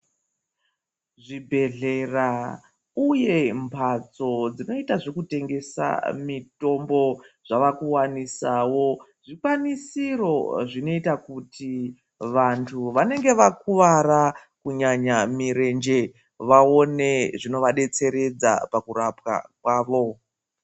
Zvibhehleya uye nembatso dzinoita zvekutengesa mitombo zvavakuwanisawo zvikwanisiro zvinoita kuti vantu vanenge vakuwara kunyanya mirenje vaone zvinobadetseredza pakurapwa kwavo.